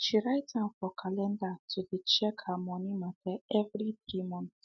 she write am for calendar to dey check her money matter every 3 month